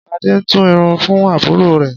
Ṣadé ń tú irun fún àbúrò rẹ̀